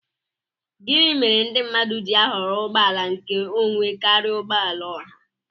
Gịnị méré ndị mmadụ ji ahọrọ ụgbọ àlà nké ònwé karịa ụgbọala ọhà?